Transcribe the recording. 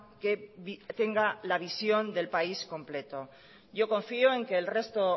que tenga la visión del país completo yo confío en que el resto